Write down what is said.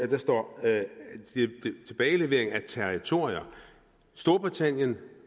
der står tilbagelevering af territori storbritannien og